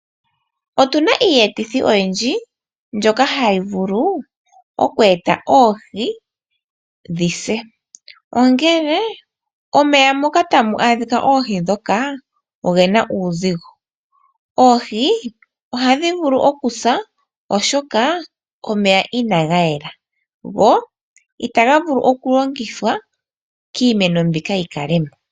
Otuna iiyetithi oyindji mbyoka hayi vulu oku eta oohi dhi se. Ongele omeya moka tamu adhika oohi dhoka ogena uuzigo. Oohi ohadhi vulu oku sa oshoka omeya inaga yela, go itaga vulu oku longithwa kiimeno mbika yi kalemo.